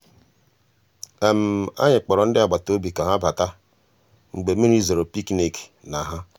ànyị́ kpọ̀rọ́ ndị́ àgbàtà òbí ká há batà mgbeé mmírí zòró pìkníkì ná há.